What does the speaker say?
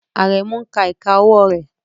Aremu ń ka ìka ọwọ́ rẹ̀